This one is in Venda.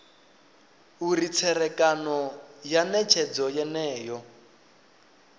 uri tserekano ya netshedzo yeneyo